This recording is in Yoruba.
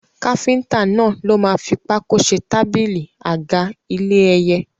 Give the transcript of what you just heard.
Káfíntà náà ló máa fi pákó ṣe tábílì, àga, ilé ẹyẹ.